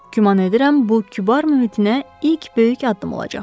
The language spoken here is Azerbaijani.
Güman edirəm bu kübar mübitinə ilk böyük addım olacaq.